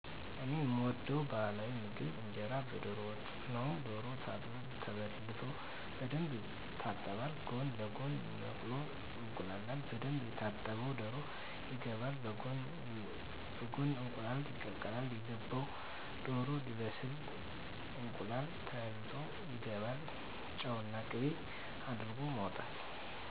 እኔ የምወደው የባህላዊ ምግብ እንጀራ በዶሮ ወጥ ነው ዶሮው ታርዶ ተበልቶ በደንብ ይታጠባል ጎን ለጎን መቁሎ ይቁላላል በደንብ የታጠበው ዶሮ ይገባል በጎን እንቁላል ይቀቀላል የገባው ዶሮ ሲበስል እንቁላሉ ተልጦ ይገባል ጨውና ቅቤ አድርጎ ማውጣት